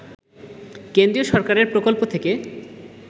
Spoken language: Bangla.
কেন্দ্রীয় সরকারের প্রকল্প থেকে